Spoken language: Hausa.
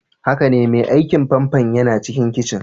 Haka ne, mai aikin famfo yana cikin kicin.